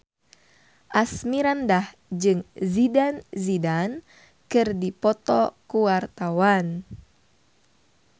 Asmirandah jeung Zidane Zidane keur dipoto ku wartawan